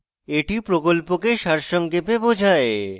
এটি প্রকল্পকে সারসংক্ষেপে বোঝায়